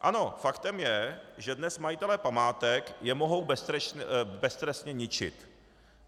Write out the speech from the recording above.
Ano, faktem je, že dnes majitelé památek je mohou beztrestně ničit.